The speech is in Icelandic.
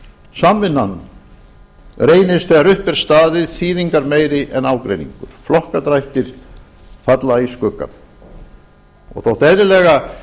samvinnan reynist þegar upp er staðið þýðingarmeiri en ágreiningur flokkadrættir falla í skuggann þótt eðlilega